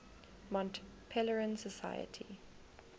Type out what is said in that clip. mont pelerin society